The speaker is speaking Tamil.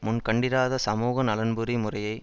முன் கண்டிராத சமூகநலன்புரி முறையை